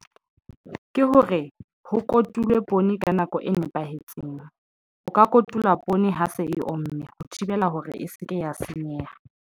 Ke hore ho kotulwe poone ka nako e nepahetseng o ka kotula poone ha se e omme ho thibela hore e se ke ya senyeha.